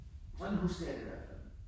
Sådan husker jeg det i hvert fald